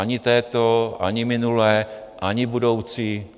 Ani této, ani minulé, ani budoucí.